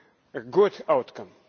a good outcome.